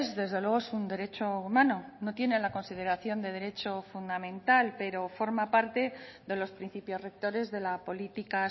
desde luego es un derecho humano no tiene la consideración de derecho fundamental pero forma parte de los principios rectores de la política